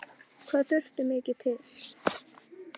Hvað þurfti mikið til?